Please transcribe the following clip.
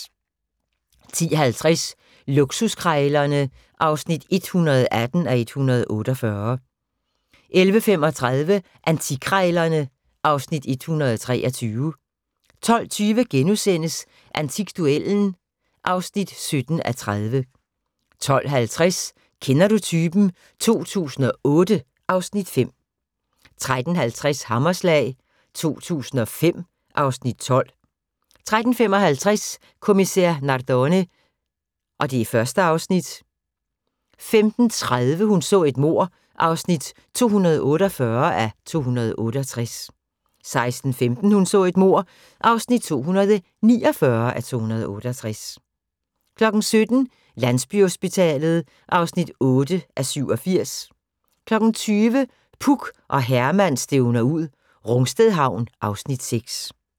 10:50: Luksuskrejlerne (118:148) 11:35: Antikkrejlerne (Afs. 123) 12:20: Antikduellen (17:30)* 12:50: Kender du typen? 2008 (Afs. 5) 13:20: Hammerslag 2005 (Afs. 12) 13:55: Kommissær Nardone (Afs. 1) 15:30: Hun så et mord (248:268) 16:15: Hun så et mord (249:268) 17:00: Landsbyhospitalet (8:87) 20:00: Puk og Herman stævner ud - Rungsted Havn (Afs. 6)